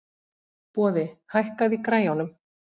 Boði, hækkaðu í græjunum.